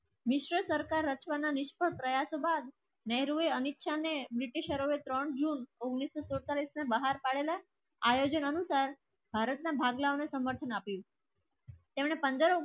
વિશ્વ સરકાર રચવા ના નિષ્ફળ રહ્યા બાદ નેહરુએ અનિચ્છાને ત્રણ જૂન ઉંગ્નીસ સો અડતાલીસ ના બહાર પાડેલા આયોજન અનુસાર ભારતના ભાગલા અને સમર્થન આપ્યું તેમણે પંદ્રહ